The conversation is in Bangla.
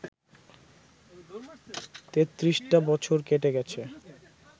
তেত্রিশটা বছর কেটে গেছে